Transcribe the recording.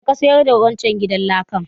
Yaushe ka sayar da wancan gidan lakan?